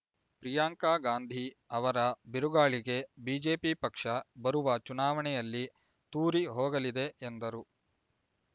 ಪ್ರಿಯಾಂಕಗಾಂಧಿ ಅವರ ಬಿರುಗಾಳಿಗೆ ಬಿಜೆಪಿ ಪಕ್ಷ ಬರುವ ಚುನಾವಣೆಯಲ್ಲಿ ತೂರಿ ಹೋಗಲಿದೆ ಎಂದರು